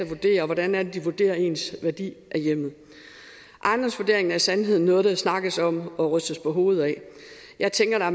vurderer og hvordan er det de vurderer ens værdi af hjemmet ejendomsvurderingen er i sandhed noget der snakkes om og rystes på hovedet af jeg tænker